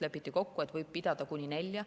Lepiti kokku, et võib pidada kuni nelja.